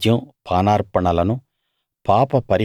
వాటి నైవేద్యం పానార్పణలను